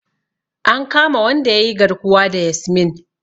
An kama wanda yayi garkuwa da Yasmin.